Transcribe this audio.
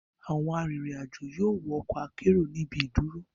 Awọn arinrin-ajo yoo wọ ọkọ akero ni ibi iduro